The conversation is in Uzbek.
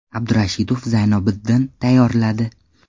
Abdurashidov Zaynobiddin tayyorladi.